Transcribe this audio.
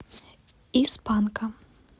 из панка